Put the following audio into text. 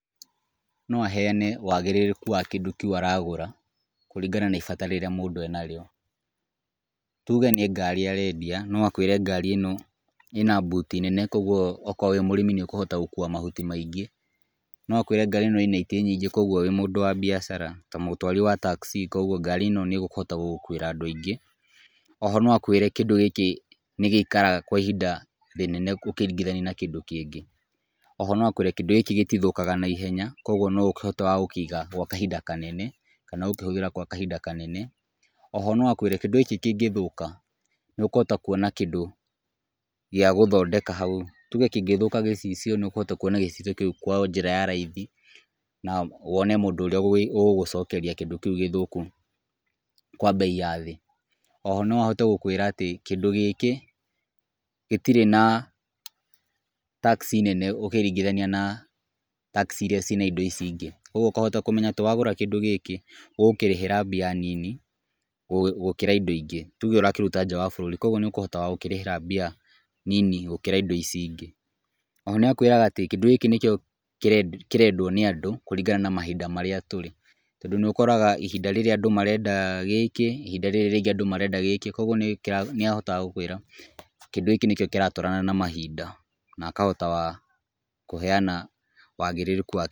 No heane wagĩrĩrĩku wa kĩndũ kĩu aragũra kũringana na ibata rĩrĩa mũndũ enarĩo. Tuge nĩ ngari arendia, no akwĩre ngari ĩno ĩna boot nene koguo okorwo wĩĩ mũrĩmi nĩ ũkũhota gũkua mahuti maingĩ. No akwĩre ngari ĩno ĩna itĩ nyingĩ koguo wĩ mũndũ wa biacara ta mũndũ wa taxi koguo ngari ĩno no ĩgũkuĩre andũ aingĩ. No akwĩre kĩndũ gĩkĩ nĩ gĩikaraga kwa ihinda rĩnene ũkĩringithania na kĩndũ kĩngĩ. O ho no akwĩre kĩndũ gĩkĩ gĩtithũkaga naihenya koguo no ũkĩhote wa gũkĩiga gwa ihinda kanene kana gũkĩhũthĩra gwa kahinda kanene. O ho no akwĩre kĩndũ gĩkĩ kĩngĩthũka nĩ ũkũhota kuona kĩndũ gĩa gũthondeka hau. Tuge kĩngĩthũka gĩcicio nĩ ũkũhota kuona gĩcicio kĩu kwa njĩra ya raithi na wone mũndũ ũrĩa ũgũgũcokeria kĩndũ kĩu gĩthũku kwa bei ya thĩ. O ho no ahote gũkwĩra kĩndũ gĩkĩ gĩtirĩ na tax nene ũkĩringithania na tax irĩa ciĩna indo ici ingĩ. Koguo ũkahota kũmenya atĩ wagũra kĩndũ gĩkĩ ũgũkĩrĩhĩra mbia nini gũkĩra indo ingĩ. Tuge ũrakĩruta nja wa bũrũri, koguo nĩ ũkũhota gũkĩrĩhĩra mbia nini gũkĩra indo ici ingĩ. Ona akwĩraga atĩ kĩndũ gĩkĩ nĩkĩo kĩrendwo nĩ andũ kũringana na mahinda marĩa tũrĩ. Tondũ nĩ ũkoraga ihinda rĩrĩa andũ marenda gĩkĩ, ihinda rĩrĩ rĩngĩ andũ marenda gĩkĩ. Koguo nĩ ahotaga gũkwĩra kĩndũ gĩkĩ nĩkĩo kĩratwarana na mahinda na akahota kũheana waagĩrĩrĩku wa...